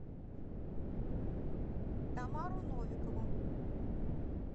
тамару новикову